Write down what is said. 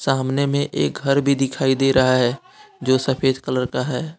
सामने में एक घर भी दिखाई दे रहा हैं जो सफेद कलर का है।